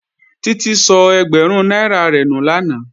Títí sọ ẹgbẹ̀rún náírà rẹ̀ nù lánàá